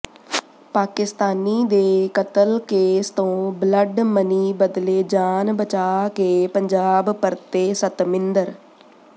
ਪਾਕਿਸਤਾਨੀ ਦੇ ਕਤਲ ਕੇਸ ਤੋਂ ਬਲੱਡ ਮਨੀ ਬਦਲੇ ਜਾਨ ਬਚਾ ਕੇ ਪੰਜਾਬ ਪਰਤੇ ਸਤਮਿੰਦਰ